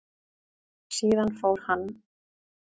Síðan fór hann.